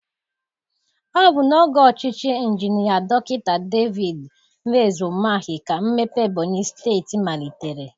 Ọ bụ n'oge ọchịchị Injinia Dọkịta David Nweze Umahi ka mmepe Ebonyị steeti malitere.